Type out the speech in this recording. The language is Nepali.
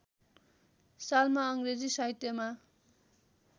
सालमा अङ्ग्रेजी साहित्यमा